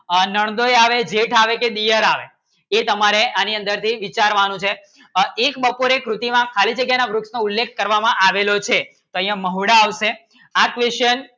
આ નંદોઇ આવે જેઠ આવે કે દેવર આવે એ તમારે આની અંદર થી વિચારવાનું છે આ એક બપોરે થી કૃતિ માં ખાલી જગ્યા માં વૃત્ત માં ઉલ્લેખ કરવમાં આવેલું છે અહીંયા મોઢા આવશે આ Question